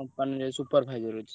company ରେ supervisor ଅଛି।